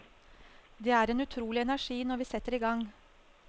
Det er en utrolig energi når vi setter i gang.